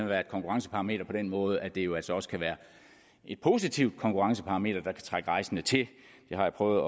være et konkurrenceparameter på den måde at det jo altså også kan være et positivt konkurrenceparameter der kan trække rejsende til det har jeg prøvet